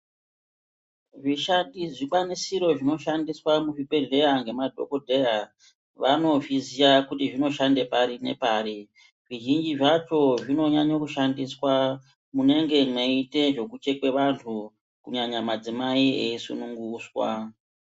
Zvishandi zvikwanisiro zvinoshandiswa muzvibhedleya ngemadhogodheya. Vanozviziya kuti zvinoshanda pari nepari. Zvizhinji zvacho zvinonyanya kushandiswa munenge mweiite zvekuchekwe vantu kunyanya madzimai eisununguswa.